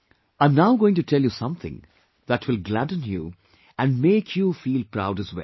I am now going to tell you something that will gladden you and make you feel proud as well